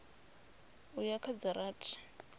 u ya kha dza rathi